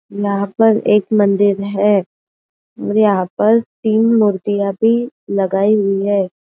यहाँ पर एक मंदिर है और यहाँ पर तीन मुर्तिया भी लगाई हुई है।